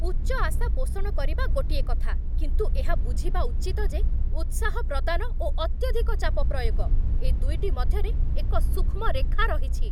ଉଚ୍ଚ ଆଶା ପୋଷଣ କରିବା ଗୋଟିଏ କଥା, କିନ୍ତୁ ଏହା ବୁଝିବା ଉଚିତ ଯେ ଉତ୍ସାହ ପ୍ରଦାନ ଓ ଅତ୍ୟଧିକ ଚାପ ପ୍ରୟୋଗ, ଏ ଦୁଇଟି ମଧ୍ୟରେ ଏକ ସୂକ୍ଷ୍ମ ରେଖା ରହିଛି।